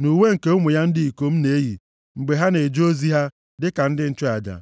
na uwe nke ụmụ ya ndị ikom na-eyi mgbe ha na-eje ozi ha dịka ndị nchụaja.”